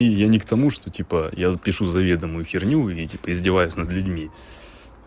и я не к тому что типа я пишу заведомою херню и типо издеваюсь над людьми